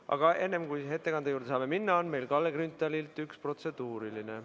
Aga enne, kui ettekande juurde saame minna, on meil Kalle Grünthalilt üks protseduuriline.